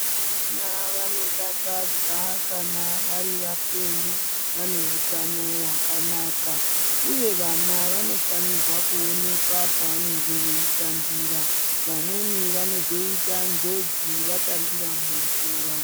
Vana vanodakadza kana vari vapenyu vane utano hwakanaka uye vana vanofanirwa kuonekwa pavanenge veitambira, vamweni vanozoita njodzi vatambira mumvura.